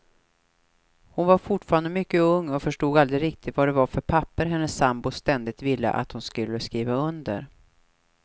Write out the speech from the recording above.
Hon var fortfarande mycket ung och förstod aldrig riktigt vad det var för papper hennes sambo ständigt ville att hon skulle skriva under.